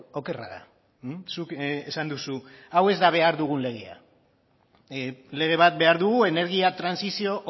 okerra da zuk esan duzu hau ez dela behar dugun legea lege bat behar dugu energia trantsizio